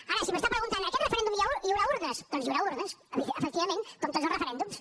ara si m’està preguntant a aquest referèndum hi haurà urnes doncs hi haurà urnes efectivament com a tots els referèndums